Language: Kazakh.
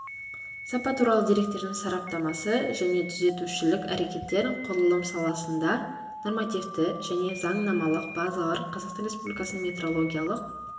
сапа туралы деректердің сараптамасы және түзетушілік әрекеттер құрылыс саласында нормативті және заңнамалық базалар қазақстан республикасының метрологиялық